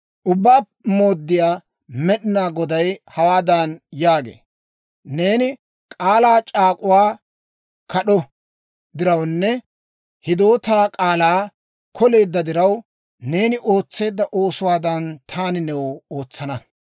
« ‹Ubbaa Mooddiyaa Med'inaa Goday hawaadan yaagee; «Neeni k'aalaa c'aak'uwaa kad'o dirawunne hidootaa k'aalaa koleedda diraw, neeni ootseedda oosuwaadan, taani new ootsana.